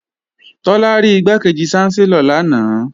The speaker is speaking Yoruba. Tọ́lá rí Igbákejì ṣánsẹ́lọ̀ lanaay